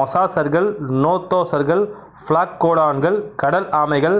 மொசாசர்கள் நோத்தோசர்கள் ப்ளாக்கோடோன்ட்கள் கடல் ஆமைகள்